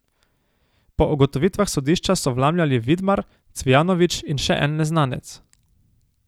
Po ugotovitvah sodišča so vlamljali Vidmar, Cvijanović in še en neznanec.